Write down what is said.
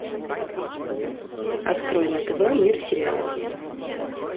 открой на тв мир сериалов